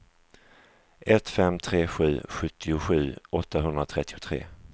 ett fem tre sju sjuttiosju åttahundratrettiotre